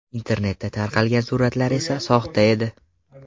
Internetda tarqalgan suratlar esa soxta edi.